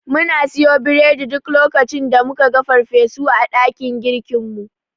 Muna siyo biredi duk lokacin da muka ga farfesu a dakin girkinmu.